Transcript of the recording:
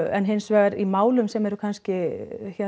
en hins vegar í málum sem eru kannski